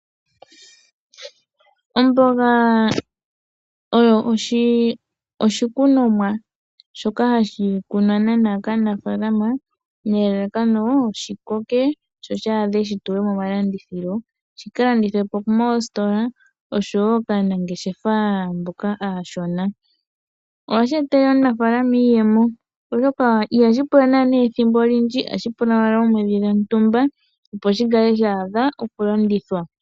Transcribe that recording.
Omboga oyo oshikunomwa shoka hashi kunwa naana kaanafaalama nelalakano shi koke sho shaadhe shi tulwe momalandithilo, shi ka landithilwe moositola osho woo kaanangeshefa mboka aashona, ohashi etele aanafaalama iiyemo, oshoka ihashi pula naana ethimbo olindji ohashi pula owala oomwedhi dhontumba opo shi kale sha adha okulandithwa.